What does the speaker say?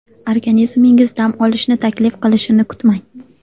Organizmingiz dam olishni taklif qilishini kutmang.